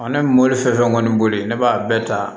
ne bɛ mobili fɛn fɛn kɔni boli ne b'a bɛɛ ta